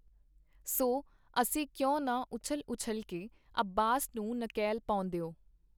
ਸੋ, ਅਸੀਂ ਕਿਉਂ ਨਾ ਉਛਲ-ਉਛਲ ਕੇ ਅੱਬਾਸ ਨੂੰ ਨਕੇਲ ਪਾਉਂਦਿਓ!.